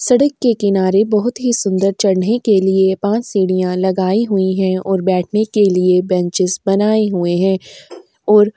सड़क के किनारे बोहोत सुंदर चढ़ने के लिए पांच सीढ़ियां लगाई हुई और बैठने के लिए बेंचेज बनाई हुई हैं और --